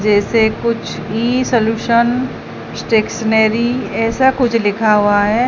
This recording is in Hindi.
जैसे कुछ ई सॉल्यूशन स्टेशनरी ऐसा कुछ लिखा हुआ है।